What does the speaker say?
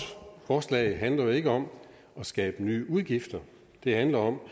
forslag handler jo ikke om at skabe nye udgifter det handler om